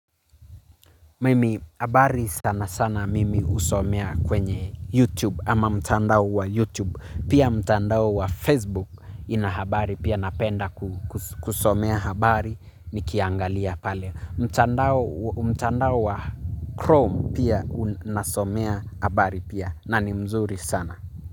Mimi habari sana sana mimi husomea kwenye YouTube ama mtandao wa YouTube. Pia mtandao wa Facebook ina habari, pia napenda kusomea habari nikiangalia pale. Mtandao mtandao wa Chrome pia nasomea habari pia na ni mzuri sana.